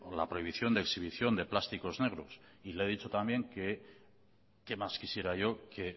la prohibición de exhibición de plásticos negros y le he dicho también que qué más quisiera yo que